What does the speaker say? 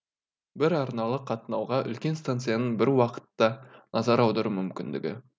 бір арналы қатынауға үлкен станцияның бір уақытта назар аудару мүмкіндігі